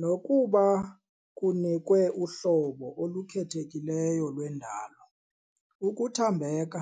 nokuba, kunikwe uhlobo olukhethekileyo lwendalo. ukuthambeka,